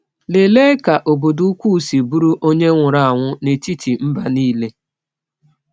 Lelee ka obodo ukwu si bụrụ onye nwụrụ anwụ n’etiti mba nile!